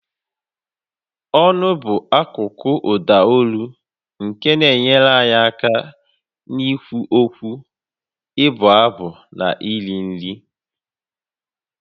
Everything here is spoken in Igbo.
Ọnụ bụ akụkụ ụda olu nke na-enyere anyị aka n'ikwu okwu, ịbụ abụ na iri nri